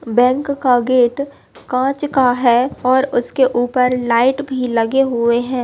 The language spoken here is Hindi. बैंक का गेट कांच का है और उसके ऊपर लाइट भी लगे हुए हैं।